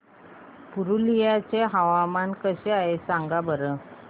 पुरुलिया चे हवामान कसे आहे सांगा बरं